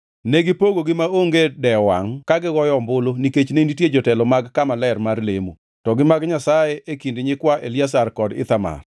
Negipogogi maonge dewo wangʼ ka gigoyo ombulu nikech ne nitie jotelo mag kama ler mar lemo, to gi mag Nyasaye e kind nyikwa Eliazar kod Ithamar.